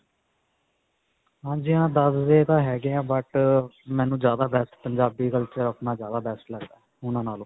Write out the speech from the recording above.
ਹਾਂਜੀ, ਹਾਂ, ਦਸਦੇ ਤਾਂ ਹੈਗੇ ਹੈ, but ਮੈਨੂੰ ਜਿਆਦਾ best ਪੰਜਾਬੀ culture ਅਪਣਾ ਜਿਆਦਾ best ਲਗਦਾ ਹੈ, ਓਹ੍ਨਾ ਨਾਲੋਂ